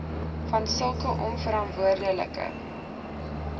want sulke onverantwoordelike